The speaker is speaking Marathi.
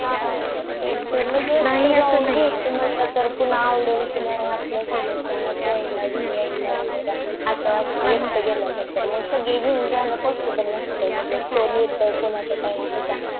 हा तेच आवडेल कि नाही आपल्या सोबत Friend घेऊन जायचं वैगेरे असं असते तिथे गेल्या नंतर घेऊन जायला सगळं Possible नसता कारण कोणी कोणाचं Time कसा